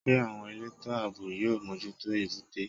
Ṣé àwọn elétò àbò yóò mójútó èbúté?